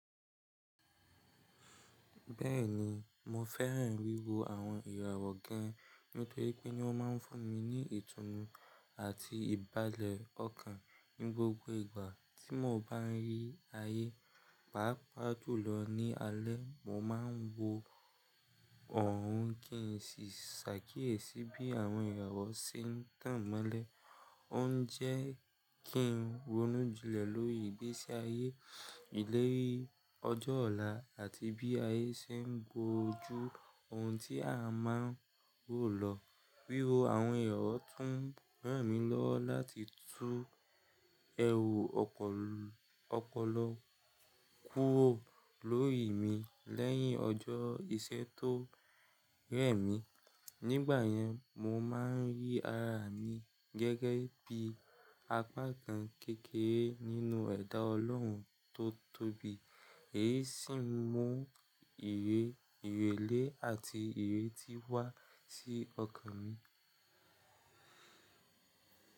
Bẹ́ẹ̀ni, mo fẹ́ràn wíwo àwọn ìràwọ̀ gan-an nítorí pé ní wọ́n máa ń fún mi ní ìtùnú àti ìbálẹ̀ ọkàn ní gbogbo ìgbà tí mo bá rí ayé. Pàápàá jùlọ lọ ní alẹ́, mo máa ń wo òun kí n sì ṣàkíyèsí bí àwọn ìràwọ̀ ṣe ń tàn mọ́lẹ̀. Ó ń jẹ́ kí n ronú jinlẹ̀ lórí ìgbésí ayé ìlérí ọjọ́ ọ̀la àti bí ayé ṣe ń bojú ohun tí a máa ń rò lọ. Wíwo àwọn ìràwọ̀ tún ràn mí lọ́wọ́ láti tú ẹrù ọpọlọ kúrò lórí mi lẹ́yìn ọjọ́ ìṣẹ́ tó rẹ̀ mí. Ni ìgbà yẹn, mo ma ń rí ara mi gẹ́gẹ́ bí apá kan kékeré nínú ẹ̀dá ọlọ́run tó tóbi, èyí sì mú ìrẹ̀lẹ àti ìrètí wá sí ọkàn mi.